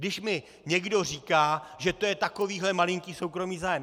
Když mi někdo říká, že to je takovýhle malinký soukromý zájem.